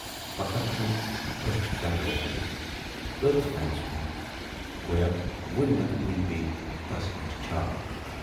فقط چھَم ٲچھ درٕ لٔجمژٕ ٲتھۍ فینس کُن گویا وُنۍ نتہٕ وُنۍ پیٚیہِ تَس پٮ۪ٹھ چھاونہٕ۔